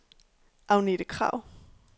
Agnethe Krag